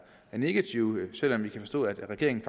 negativt selv om vi kan forstå at regeringen